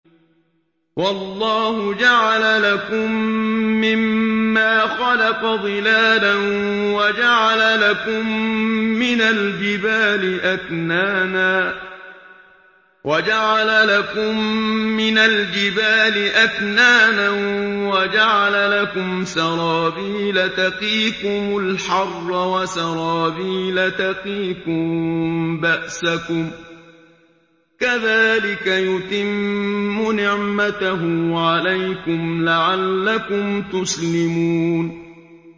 وَاللَّهُ جَعَلَ لَكُم مِّمَّا خَلَقَ ظِلَالًا وَجَعَلَ لَكُم مِّنَ الْجِبَالِ أَكْنَانًا وَجَعَلَ لَكُمْ سَرَابِيلَ تَقِيكُمُ الْحَرَّ وَسَرَابِيلَ تَقِيكُم بَأْسَكُمْ ۚ كَذَٰلِكَ يُتِمُّ نِعْمَتَهُ عَلَيْكُمْ لَعَلَّكُمْ تُسْلِمُونَ